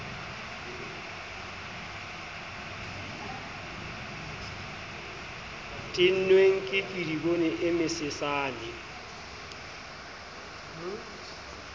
tennweng ke kedibone e mesesane